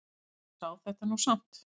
Hún sá þetta nú samt.